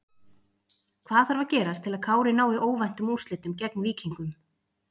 Hvað þarf að gerast til að Kári nái óvæntum úrslitum gegn Víkingum?